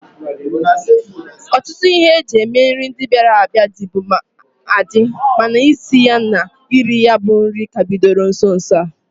Ọtụtụ ihe e ji eme nri ndia bịara abịa, dịbu adị mana isi na iri ya bụ nri ka bidoro nso nso a.